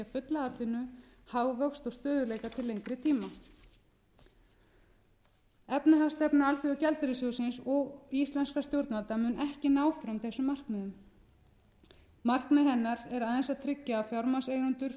fulla atvinnu hagvöxt og stöðugleika til lengri tíma efnahagsstefna alþjóðagjaldeyrissjóðsins og íslenskra stjórnvalda mun ekki ná fram þessum markmiðum markmið hennar er aðeins að tryggja að fjármagnseigendur fái sæmilega ávöxtun á fé